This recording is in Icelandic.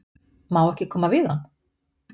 Má ekki koma við hann?